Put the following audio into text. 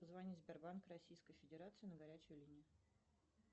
позвонить в сбербанк российской федерации на горячую линию